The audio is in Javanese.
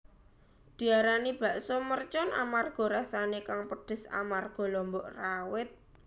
Diarani bakso mercon amarga rasané kang pedes amarga lombok rawit